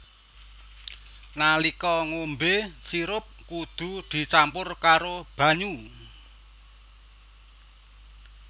Nalika ngombé sirup kudu dicampur karo banyu